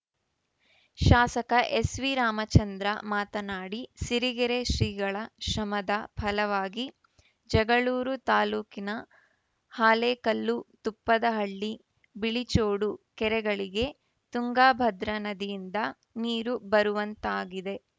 ಶಾಸಕ ಎಸ್‌ವಿ ರಾಮಚಂದ್ರ ಮಾತನಾಡಿ ಸಿರಿಗೆರೆ ಶ್ರೀಗಳ ಶ್ರಮದ ಫಲವಾಗಿ ಜಗಳೂರು ತಾಲೂಕಿನ ಹಾಲೇಕಲ್ಲು ತುಪ್ಪದಹಳ್ಳಿಬಿಳಿಚೋಡು ಕೆರೆಗಳಿಗೆ ತಂಗಾಭದ್ರಾ ನದಿಯಿಂದ ನೀರು ಬರುವಂತಾಗಿದೆ